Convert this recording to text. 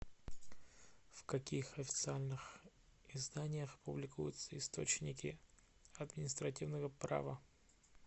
в каких официальных изданиях публикуются источники административного права